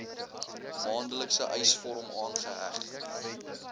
maandelikse eisvorm aangeheg